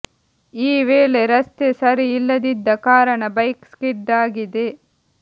ಈ ವೇಳೆ ರಸ್ತೆ ಸರಿ ಇಲ್ಲದಿದ್ದ ಕಾರಣ ಬೈಕ್ ಸ್ಕಿಡ್ ಆಗಿದೆ